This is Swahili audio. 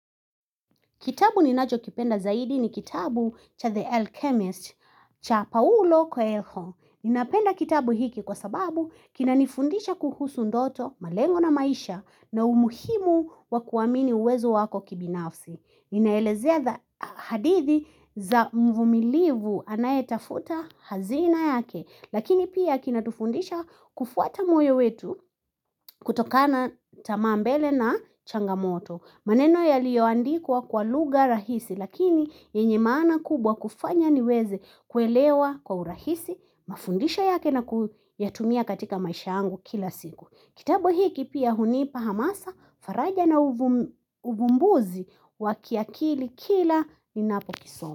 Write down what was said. Kitabu ninajo kipenda zaidi ni kitabu cha The Alchemist cha Paulo Coelho. Ninapenda kitabu hiki kwa sababu kina nifundisha kuhusu ndoto, malengo na maisha na umuhimu wa kuwamini uwezo wako kibinafsi. Inaelezea hadithi za mvumilivu anayetafuta hazina yake. Lakini pia kinatufundisha kufuata moyo wetu kutokana tama mbele na changamoto. Maneno yaliyoandikwa kwa luga rahisi lakini yenye maana kubwa kufanya niweze kuelewa kwa urahisi, mafundisho yake na kuyatumia katika maisha angu kila siku. Kitabu hiki pia hunipa hamasa, faraja na uvumbuzi wa kiakili kila ninapo kisoma.